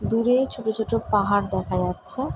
দূরেই ছোট ছোট পাহাড় দেখা যাচ্ছে ।